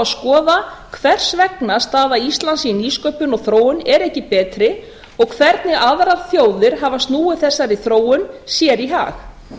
skoða hvers vegna staða íslands í nýsköpun og þróun er ekki betri og hvernig aðrar þjóðir hafa snúið þessari þróun sér í hag